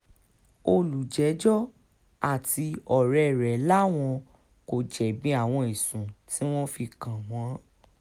olùjẹ́jọ́ àti ọ̀rẹ́ rẹ̀ làwọn kò jẹ̀bi àwọn ẹ̀sùn tí wọ́n fi kàn wọ́n